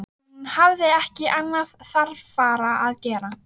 Hún hafði ekki annað þarfara að gera.